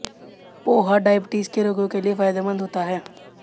poha diabetes के रोगियों के लिए फायदेमंद होता है